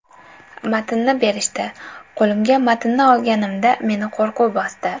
Matnni berishdi, qo‘limga matnni olganimda meni qo‘rquv bosdi.